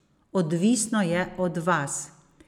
Odvisno je od vas.